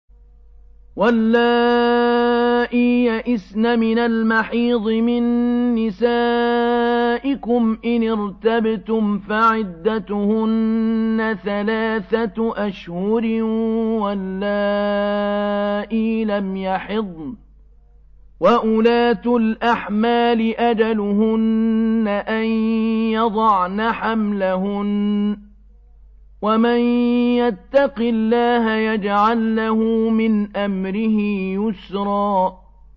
وَاللَّائِي يَئِسْنَ مِنَ الْمَحِيضِ مِن نِّسَائِكُمْ إِنِ ارْتَبْتُمْ فَعِدَّتُهُنَّ ثَلَاثَةُ أَشْهُرٍ وَاللَّائِي لَمْ يَحِضْنَ ۚ وَأُولَاتُ الْأَحْمَالِ أَجَلُهُنَّ أَن يَضَعْنَ حَمْلَهُنَّ ۚ وَمَن يَتَّقِ اللَّهَ يَجْعَل لَّهُ مِنْ أَمْرِهِ يُسْرًا